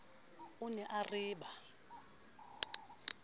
o ne a re ba